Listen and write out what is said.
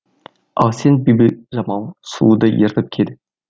ал сен бибіжамал сұлуды ертіп кел